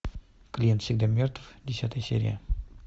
клиент всегда мертв десятая серия